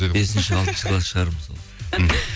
бесінші алтыншы класс шығармын сол мхм